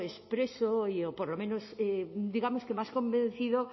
expreso o por lo menos digamos que más convencido